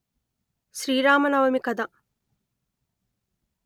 శ్రీ రామ నవమి కథ